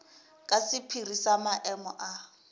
ke sephiri sa maemo a